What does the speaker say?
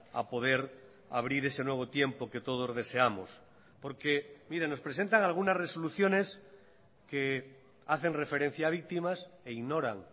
a poder abrir ese nuevo tiempo que todos deseamos porque miren nos presentan algunas resoluciones que hacen referencia a víctimas e ignoran